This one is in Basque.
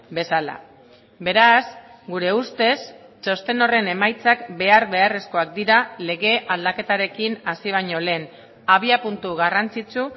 bezala beraz gure ustez txosten horren emaitzak behar beharrezkoak dira lege aldaketarekin hasi baino lehen abiapuntu garrantzitsu